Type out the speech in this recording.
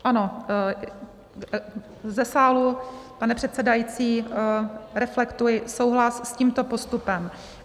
Ano, ze sálu, pane předsedající, reflektuji souhlas s tímto postupem.